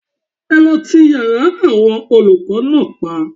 Ẹ lọ ti yára àwọn olùkọ́ náà pa